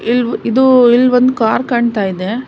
ಇದು ಇಲ್ ಒಂದು ಕಾರ್ ಕಾಣ್ತಾ ಇದೆ.